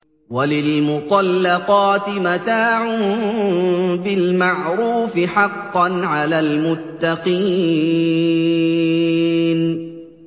وَلِلْمُطَلَّقَاتِ مَتَاعٌ بِالْمَعْرُوفِ ۖ حَقًّا عَلَى الْمُتَّقِينَ